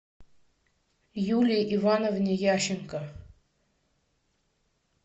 юлии ивановне ященко